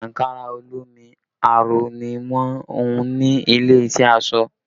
Ankara olómi aró ni wọn hùn ní ilé iṣẹ́ aṣọ